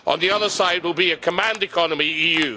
On the other side will be a command economy the EU.